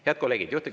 Head kolleegid!